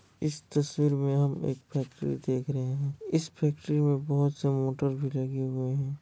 इस तस्वीर में हम एक फैक्ट्री देख रहे हैं। इस फैक्ट्री में बोहत - सा मोटर भी लगे हुए हैं।